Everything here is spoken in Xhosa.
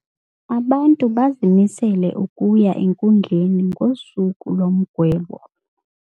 Abantu bazimisele ukuya enkundleni ngosuku lomgwebo.